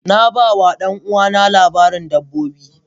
Na ba wa ɗan'uwana labarin dabbobi.